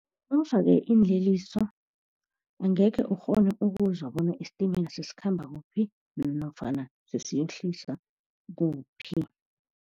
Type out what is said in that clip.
Nawufake iinliliso, angekhe ukghone ukuzwa bona isitimela sesikhamba kuphi, nofana sesiyokuhlisa kuphi.